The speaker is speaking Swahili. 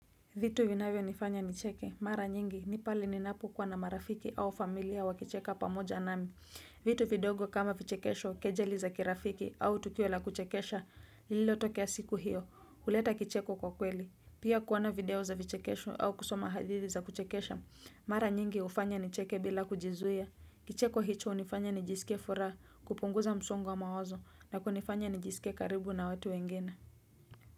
Vitu vinavyonifanya nicheke, mara nyingi, ni pale ninapokuwa na marafiki au familia wakicheka pamoja nami. Vitu vidogo kama vichekesho, kejeli za kirafiki au tukio la kuchekesha, lililotokea siku hiyo, huleta kicheko kwa kweli. Pia kuona video za vichekesho au kusoma hadithi za kuchekesha, mara nyingi hufanya nicheke bila kujizuia. Kicheko hicho hunifanya nijisikie furaha, kupunguza msongo wa mawazo, na kunifanya nijisikie karibu na watu wengine.